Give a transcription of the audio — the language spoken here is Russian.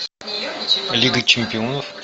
лига чемпионов